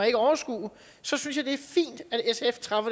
ikke overskue så synes